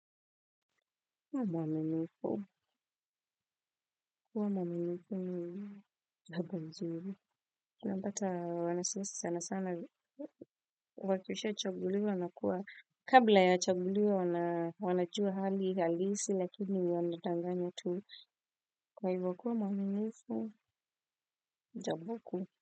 Kuwa mwaminifu, kuwa mwaminifu ni jamboj mzuri. Unapata wanasiasi sana sana, wakishachaguliwa wanakuwa. Kabla ya wachaguliwe wanajua hali halisi lakini wanadanganya tu. Kwa hivyo kuwa mwaminifu, jambo kuu.